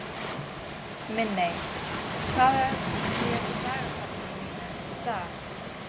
Minney, hvað er í dagatalinu mínu í dag?